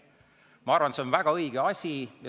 Ma arvan, et see on väga õige asi.